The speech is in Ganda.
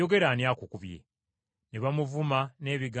Ne bamuvuma n’ebigambo ebirala bingi.